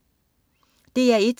DR1: